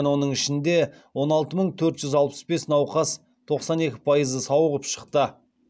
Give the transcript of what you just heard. оның ішінде он алты мың төрт жүз алпыс бес науқас тоқсан екі пайызы сауығып шықты